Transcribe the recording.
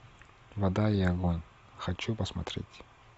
вода и огонь хочу посмотреть